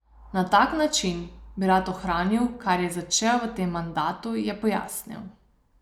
Na tak način bi rad ohranil, kar je začel v tem mandatu, je pojasnil.